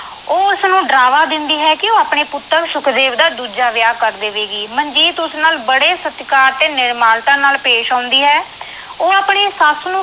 ਉਹ ਉਸਨੂੰ ਡਰਾਵਾ ਦਿੰਦੀ ਹੈ ਕਿ ਉਹ ਆਪਣੇ ਪੁੱਤਰ ਸੁਖਦੇਵ ਦਾ ਦੂਜਾ ਵਿਆਹ ਕਰ ਦੇਵੇਗੀ। ਮਨਜੀਤ ਉਸ ਨਾਲ ਬੜੇ ਸਤਿਕਾਰ ਤੇ ਨਿਮਰਤਾ ਨਾਲ ਪੇਸ਼ ਆਉਂਦੀ ਹੈ। ਉਹ ਆਪਣੀ ਸੱਸ ਨੂੰ